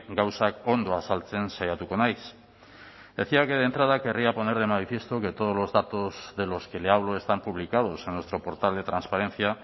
gauzak ondo azaltzen saiatuko naiz decía que de entrada querría poner de manifiesto que todos los datos de los que le hablo están publicados en nuestro portal de transparencia